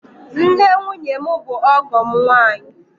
Nne nwunye m bụ ọgọ m nwaanyị.